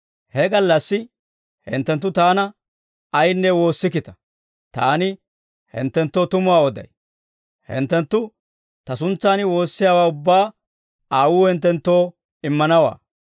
«He gallassi hinttenttu Taana ayinne woossikkita. Taani hinttenttoo tumuwaa oday; hinttenttu Ta suntsan woossiyaawaa ubbaa Aawuu hinttenttoo immanawaa.